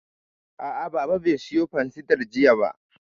A'a, Baba bai sayo fansidar jiya ba